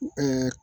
Ɛɛ